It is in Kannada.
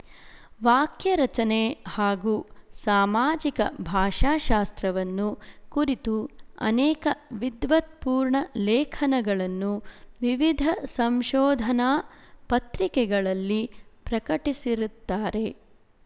ವಾಕ್ಯರಚನೆ ಹಾಗೂ ಸಾಮಾಜಿಕ ಭಾಷಾಶಾಸ್ತ್ರವನ್ನು ಕುರಿತು ಅನೇಕ ವಿದ್ವತ್ಪೂರ್ಣ ಲೇಖನಗಳನ್ನು ವಿವಿಧ ಸಂಶೋಧನಾ ಪತ್ರಿಕೆಗಳಲ್ಲಿ ಪ್ರಕಟಿಸಿರುತ್ತಾರೆ